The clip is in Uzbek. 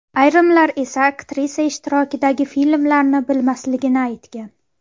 Ayrimlar esa aktrisa ishtirokidagi filmlarni bilmasligini aytgan.